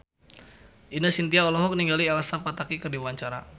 Ine Shintya olohok ningali Elsa Pataky keur diwawancara